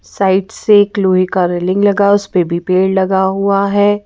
Side से एक लोहे का रेलिंग लगा उस पे भी पेड़ लगा हुआ है।